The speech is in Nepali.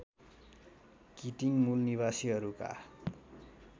किटिङ मूलनिवासीहरूका